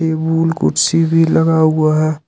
कुर्सी भी लगा हुआ है।